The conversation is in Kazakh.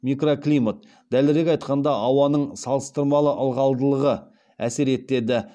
микроклимат дәлірек айтқанда ауаның салыстырмалы ылғалдылығы әсер етеді